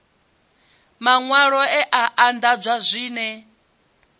maṅwalwa e a anḓadzwa zwine